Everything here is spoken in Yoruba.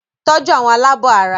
Tọ́jú àwọn alábọ̀ara!